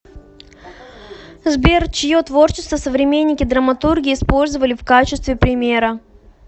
сбер чье творчество современники драматурги использовали в качестве примера